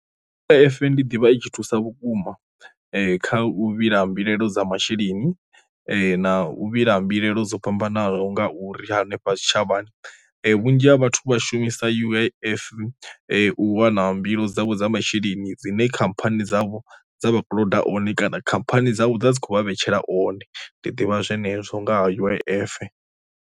U_I_F ndi ḓivha i tshi thusa vhukuma kha u vhila mbilaelo dza masheleni na u vhila mbilaelo dzo fhambanaho ngauri hanefha zwitshavhani, vhunzhi ha vhathu vha shumisa sa U_I_F u wana mbilo dzavho dza masheleni dzine khamphani dzavho dza vhakololo one kana khamphani dzavho dza dzi kho vha vhetshela one, ndi ḓivha zwenezwo nga ha U_I_F.